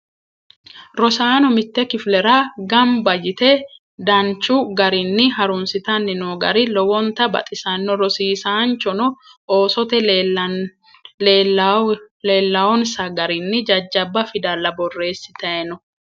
Rosaano mitte kifilera gamibba yite danichu garinni harunsittan noo gari lowonitta baxisanno. Rosiisanchono oosote leelawonisa garinni jajjaba fidallani boreesitay no.